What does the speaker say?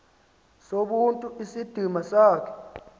sobuntu isidima sakho